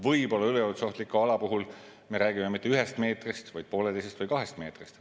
Võib-olla üleujutusohtliku ala puhul me ei räägi mitte ühest meetrist, vaid pooleteisest või kahest meetrist.